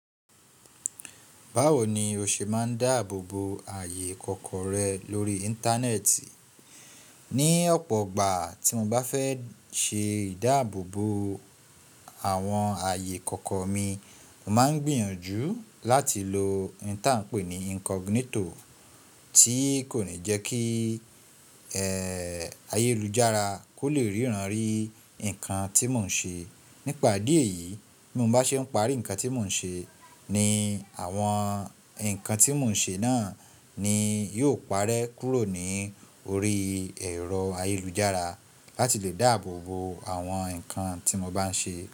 Báwo ni o ṣe máa ń dáàbòbo ààyè kọ̀ko rẹ lórí Íńtánẹ́ẹ̀tì? Ni ọ̀pọ̀ ìgbà tí mo bá fẹ́ ṣe ìdáàbòbo àwọn ààyè kọ̀ọ̀kan mi, mo máa ń gbìyànjú láti lo ohun tí à ń pè ní incognito tí kò ní jẹ́ kí ayélujára kó le ríran rí nǹkan tí mò ń ṣe. Nípa idi eyìí, bí mo bá ṣe ń parí nǹkan tí mò ń ṣe, ni àwọn nǹkan tí mò ń ṣe náà ni yóò parẹ́ kúrò ní orí ẹ̀rọ ayélujára láti lè dáàbòbo àwọn nǹkan tí mo bá ń ṣe.